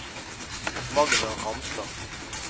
Magna Ramstad